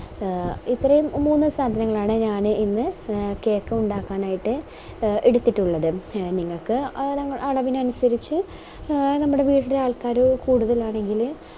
ആഹ് ഇത്രേം മൂന്ന് സാധനങ്ങളാണ് ഞാന് ഇന്ന് cake ഉണ്ടാക്കാനായിട്ട് ആഹ് എടുത്തിട്ടുള്ളത് നിങ്ങൾക്ക് ഓരോ അളവിനനുസരിച് ആഹ് നമ്മുടെ വീട്ടില് ആൾക്കാര് കൂടുതലാണെങ്കില്